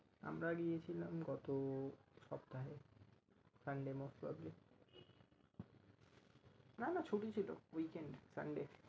আমরা গিয়েছিলাম গত সপ্তাহে sunday most probably না না ছুটি ছিল weekend sunday ।